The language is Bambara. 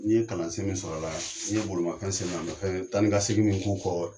N ye kalansen min sɔrɔ a la n ye bolimafɛn sen naani ma fɛn taa ni ka segin min k'u kɔrɔ.